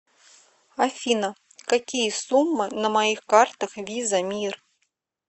афина какие суммы на моих картах виза мир